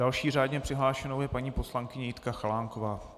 Další řádně přihlášenou je paní poslankyně Jitka Chalánková.